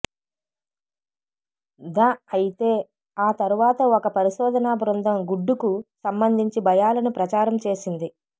దఅయితే ఆ తరువాత ఒక పరిశోధనా బృందం గుడ్డుకు సంబంధించి భయాలను ప్రచారం చేసింది